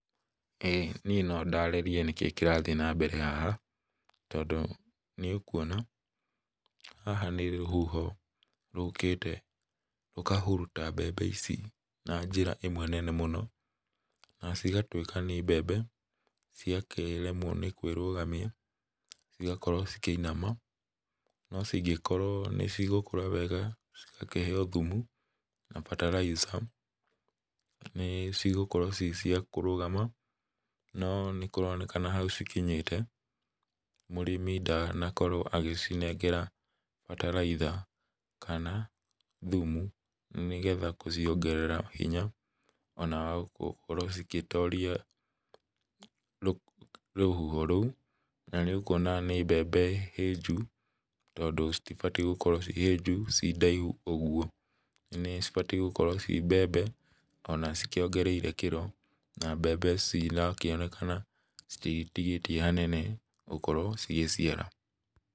ĩ niĩ nondarĩrie nĩkĩĩ kĩrathiĩ nambere haha, tondũ nĩũkuona haha nĩ rũhuho, rũkĩte rũkahuruta mbembe ici na njĩra ĩmwe nene mũno, na cigatwĩka nĩ mbembe ciakĩremwo nĩ kwĩrũgamia, cigakorwo cikĩinama, no cingĩkorwo nĩcigũkũra wega, cigakĩheo thumu, na bataraica, nĩ cigũkorwo ci cia kũrũgama, no nĩkũronekana hau cikinyĩte, mũrĩmi ndanakorwo agĩcinengera bataraitha, kana thumu, nĩgetha gũciongerera hinya, ona wa gũkorwo cigĩtoria rũhuho rũu, na nĩũkuona nĩ mbembe hĩnju, tondũ citibatiĩ, gũkorwo ciĩ hĩnju ciĩ ndaihu ũguo, nĩcibatiĩ gũkorwo ciĩ mbembe, ona cikĩongereire kĩro, na mbembe ici naikĩonekana citigĩtigĩtie hanene gũkorwo cigĩciara.